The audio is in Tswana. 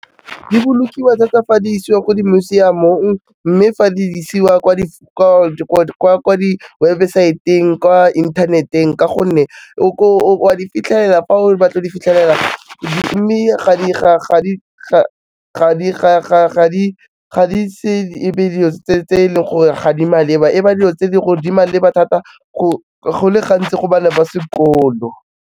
Dibolokiwa thata fa di isiwa ko di museum-ong mme fa di isiwa kwa di websaeteng, kwa inthaneteng ka gonne o a di fitlhelela fa o batla o di fitlhelela mme ga di ise e be dilo tse e leng gore ga di maleba, e ba di lo tse e le gore di maleba thata go le gantsi go bana ba sekolo.